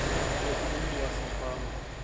loku umntu wasefama